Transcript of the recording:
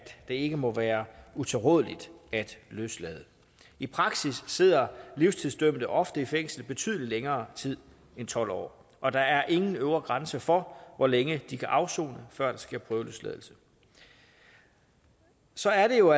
det ikke må være utilrådeligt at løslade i praksis sidder livstidsdømte ofte i fængsel i betydelig længere tid end tolv år og der er ingen øvre grænse for hvor længe de kan afsone før der sker prøveløsladelse så er det jo